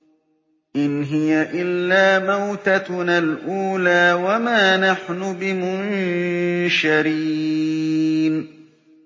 إِنْ هِيَ إِلَّا مَوْتَتُنَا الْأُولَىٰ وَمَا نَحْنُ بِمُنشَرِينَ